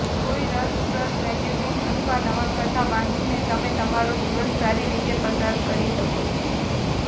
કોઈ રસપ્રદ મેગેઝિન અથવા નવલકથા વાંચીને તમે તમારો દિવસ સારી રીતે પસાર કરી શકો છો